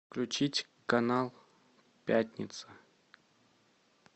включить канал пятница